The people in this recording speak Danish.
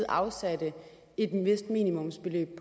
afsatte et vist minimumsbeløb